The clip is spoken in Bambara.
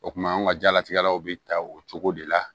O kuma an ka diɲɛlatigɛlaw bɛ ta o cogo de la